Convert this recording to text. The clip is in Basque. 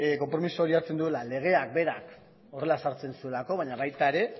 konpromiso hori hartzen zuela legeak berak horrela ezartzen zuelako baina baita ere